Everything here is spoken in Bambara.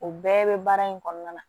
O bɛɛ bɛ baara in kɔnɔna na